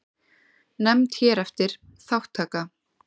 Nefnd hér eftir: Þátttaka.